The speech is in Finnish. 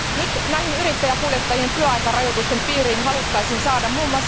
Nyt yrittäjäkuljettajien työaikarajoitusten piiriin haluttaisiin saada mm.